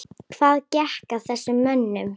Hvað gekk að þessum mönnum?